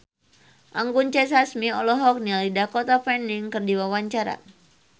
Anggun C. Sasmi olohok ningali Dakota Fanning keur diwawancara